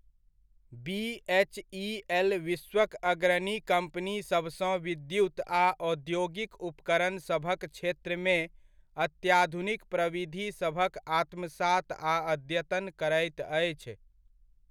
BHEL विश्वक अग्रणी कम्पनीसभसँ विद्युत आ औद्योगिक उपकरणसभक क्षेत्रमे अत्याधुनिक प्रविधिसभक आत्मसात आ अद्यतन करैत अछि।